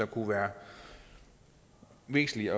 kunne være væsentligt